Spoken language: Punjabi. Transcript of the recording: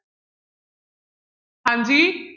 ਹਾਂਜੀ।